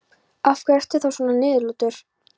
Af hverju ertu þá svona niðurlútur?